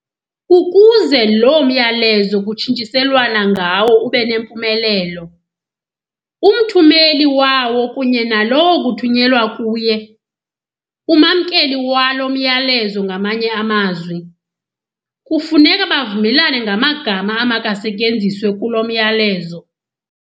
Ukuze loo myalezo kutshintshiselwana ngawo ubenempumelelo, umthumeli wawo kunye nalowo kuthunyelwa kuye, umamkeli walo myalezo ngamanye amazwi, kufuneka bavumelane ngamagama amakasetyenziswe kulo myalezo.